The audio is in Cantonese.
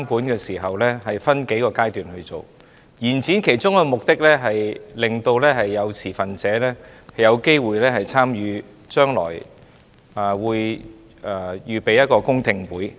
延展修訂期限的其中一個目的，是讓持份者有機會參與將來舉行的公聽會。